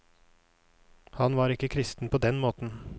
Han var ikke kristen på den måten.